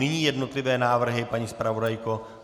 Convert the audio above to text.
Nyní jednotlivé návrhy, paní zpravodajko.